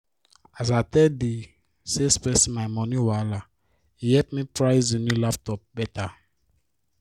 as i tell the salesperson my moni wahala e help me price the new laptop better